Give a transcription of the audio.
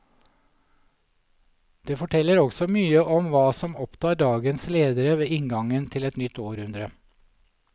Det forteller også mye om hva som opptar dagens ledere ved inngangen til et nytt århundre.